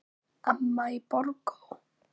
Amma í Borgó.